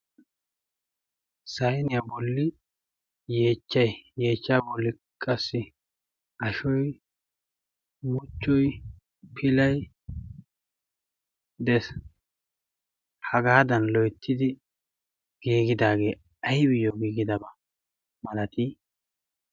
saeniyaa bolli yeechchai yeechcha bolli qassi ashoye muchchui pilai des hagaadan loittidi giigidaagee aibiyyo giigidabaa malatii